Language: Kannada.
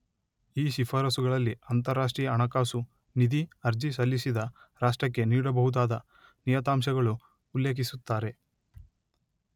ಈ ಶಿಫಾರಸ್ಸುಗಳಲ್ಲಿ ಅಂತರರಾಷ್ಟ್ರೀಯ ಹಣಕಾಸು ನಿಧಿ ಅರ್ಜಿ ಸಲ್ಲಿಸಿದ ರಾಷ್ಟ್ರಕ್ಕೆ ನೀಡಬಹುದಾದ ನಿಯತಾಂಶಗಳು ಉಲ್ಲೆಖಿಸುತ್ತಾರೆ